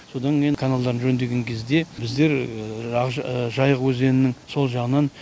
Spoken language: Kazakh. содан кейін каналдарды жөндеген кезде біздер жайық өзенінің сол жағынан